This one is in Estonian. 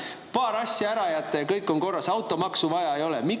Paar asja ära jätta, ja kõik on korras, automaksu vaja ei ole!